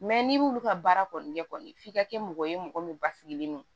n'i m'olu ka baara kɔni kɛ kɔni f'i ka kɛ mɔgɔ ye mɔgɔ min basigilen no